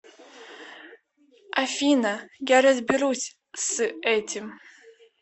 афина я разберусь с этим